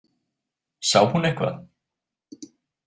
Sá hún eitthvað?